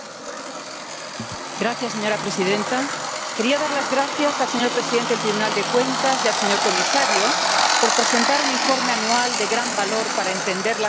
Señora presidenta, quería dar las gracias al señor presidente del Tribunal de Cuentas y al señor comisario por presentar un informe anual de gran valor para entender las cuentas de la Unión Europea.